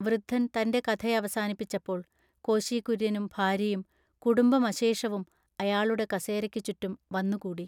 വൃദ്ധൻ തന്റെ കഥയവസാനിപ്പിച്ചപ്പോൾ കോശി കുര്യനും ഭാര്യയും കുടുംബമശേഷവും അയാളുടെ കസേരക്ക് ചുറ്റും വന്നുകൂടി.